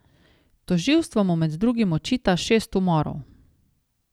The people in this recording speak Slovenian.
Tožilstvo mu med drugim očita šest umorov.